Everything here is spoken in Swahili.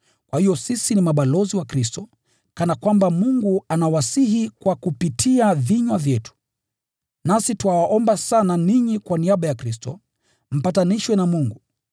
Kwa hiyo sisi ni mabalozi wa Kristo, kana kwamba Mungu anawasihi kupitia kwa vinywa vyetu. Nasi twawaomba sana ninyi kwa niaba ya Kristo, mpatanishwe na Mungu.